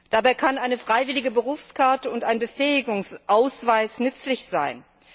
Dabei können eine freiwillige Berufskarte und ein Befähigungsausweis nützlich sein.